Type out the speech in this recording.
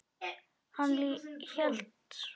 Hann hélt svo fast.